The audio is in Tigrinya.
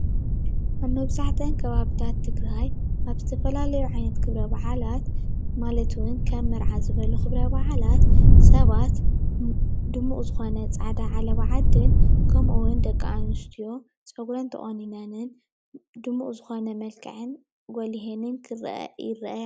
ኣብ መብዛሕትአን ከባቢታት ትግራይ ኣብ ዝተፈላለዮ ዓይነት ክብረ በዓላት ማለት እውን ከም መርዓ ዝበሉ ክብረ በዓላት ሰባት ድሙቕ ዝኮነ ፃዕዳ ዓለባ ዓዲን ከምእውን ደቂ ኣንስትዮ ፀጉረን ተቆኒነንን ድሙቕ ዝኮነ መልክዐን ጐሊሀንን ይረኣያ።